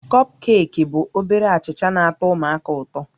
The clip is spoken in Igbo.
Kọpkeeki bụ obere achịcha na-atọ ụmụaka ụtọ